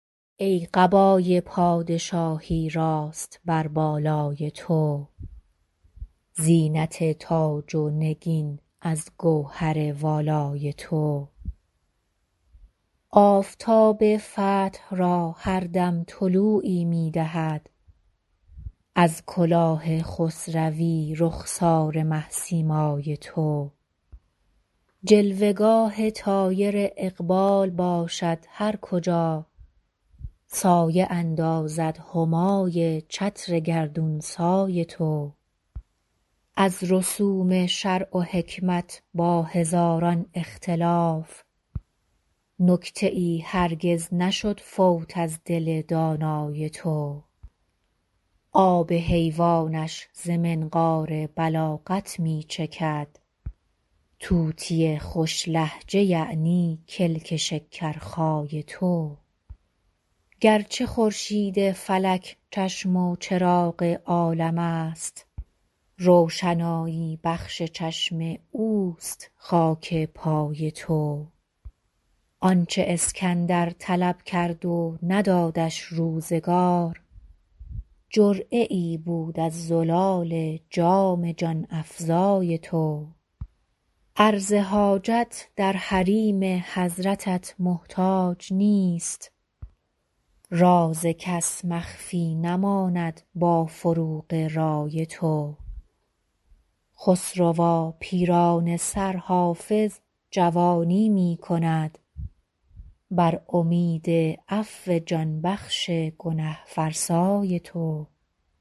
ای قبای پادشاهی راست بر بالای تو زینت تاج و نگین از گوهر والای تو آفتاب فتح را هر دم طلوعی می دهد از کلاه خسروی رخسار مه سیمای تو جلوه گاه طایر اقبال باشد هر کجا سایه اندازد همای چتر گردون سای تو از رسوم شرع و حکمت با هزاران اختلاف نکته ای هرگز نشد فوت از دل دانای تو آب حیوانش ز منقار بلاغت می چکد طوطی خوش لهجه یعنی کلک شکرخای تو گرچه خورشید فلک چشم و چراغ عالم است روشنایی بخش چشم اوست خاک پای تو آن چه اسکندر طلب کرد و ندادش روزگار جرعه ای بود از زلال جام جان افزای تو عرض حاجت در حریم حضرتت محتاج نیست راز کس مخفی نماند با فروغ رای تو خسروا پیرانه سر حافظ جوانی می کند بر امید عفو جان بخش گنه فرسای تو